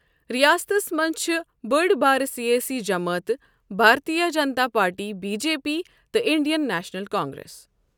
ریاستس منٛز چھِ بٔڑ بارٕ سیٲسی جماعتہٕ Bharatiya Janata Party B J P تہٕ انڈین نیشنل کانگریس۔